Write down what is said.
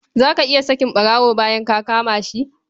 Za ka iya sakin ɓarawo bayan ka kama shi?